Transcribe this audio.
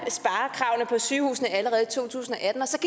vil sygehuse allerede i to tusind